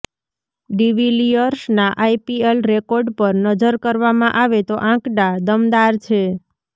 ડિવિલિયર્સના IPL record પર નજર કરવામાં આવે તો આંકડા દમદાર છે